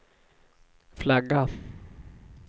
flagga